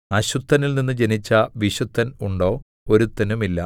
അശുദ്ധനിൽനിന്ന് ജനിച്ച വിശുദ്ധൻ ഉണ്ടോ ഒരുത്തനുമില്ല